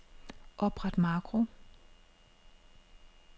Opret makro.